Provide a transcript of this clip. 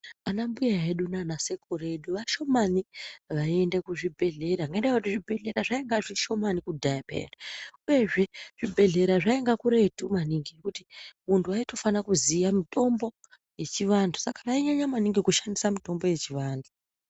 Ana mbuya edu nana sekuru edu vashomani vaiende kuzvibhedhlera ngendaa yekuti zvibhehlera zvainga zvishomani kudhaya peya uyezve zvibhehlera zvainga kuretu maningi zvekuti muntu waitofana kuziya mutombo yechivantu saka vainyanya maningi kushandisa mitombo yechivantu.